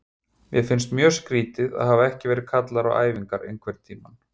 Mér finnst mjög skrýtið að hafa ekki verið kallaður á æfingar einhverntímann.